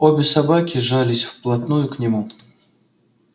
обе собаки жались вплотную к нему